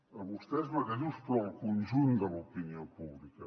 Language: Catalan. a vostès mateixos però al conjunt de l’opinió pública